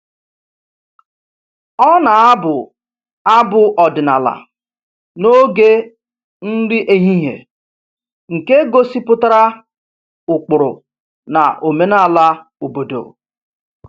Ọ na-abụ abụ ọdịnala n'oge nri ehihie nke gosipụtara ụkpụrụ na omenala obodo